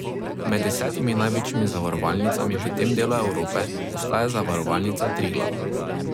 Med desetimi največjimi zavarovalnicami v tem delu Evrope ostaja Zavarovalnica Triglav.